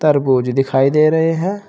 तरबूज दिखाई दे रहे हैं।